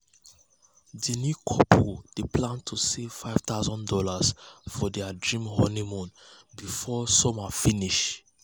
the new couple dey plan to save five thousand dollars for their dream honeymoon before summer finish. summer finish.